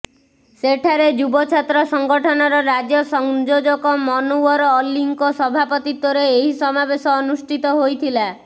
ସେଠାରେ ଯୁବଛାତ୍ର ସଂଗଠନର ରାଜ୍ୟ ସଂଯୋଜକ ମନୱର ଅଲ୍ଲୀଙ୍କ ସଭାପତିତ୍ବରେ ଏହି ସମାବେଶ ଅନୁଷ୍ଠିତ ହୋଇଥିଲା